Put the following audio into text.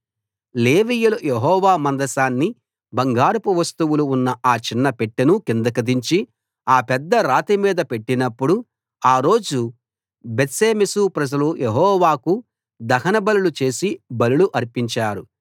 లేవీయులు యెహోవా మందసాన్ని బంగారపు వస్తువులు ఉన్న ఆ చిన్న పెట్టెను కిందికి దించి ఆ పెద్ద రాతిమీద పెట్టినప్పుడు ఆ రోజు బేత్షెమెషు ప్రజలు యెహోవాకు దహనబలులు చేసి బలులు అర్పించారు